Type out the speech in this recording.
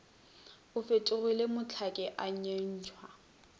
o fetogile mohlaki a nyentšha